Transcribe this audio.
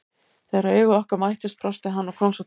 Þegar augu okkar mættust brosti hann og kom svo til mín.